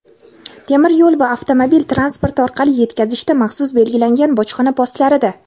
temir yo‘l va avtomobil transporti orqali yetkazishda – maxsus belgilangan bojxona postlarida;.